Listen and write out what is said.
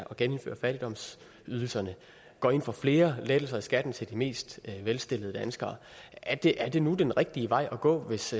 genindføre fattigdomsydelserne og går ind for flere lettelser i skatten til de mest velstillede danskere er det er det nu den rigtige vej at gå hvis